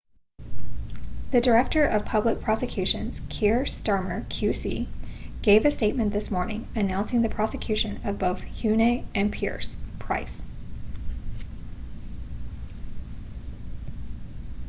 the director of public prosecutions kier starmer qc gave a statement this morning announcing the prosecution of both huhne and pryce